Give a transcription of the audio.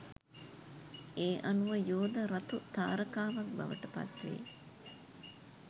ඒ අනුව යෝධ රතු තාරකාවක් බවට පත්වෙයි